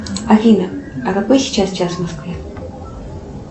афина а какой сейчас час в москве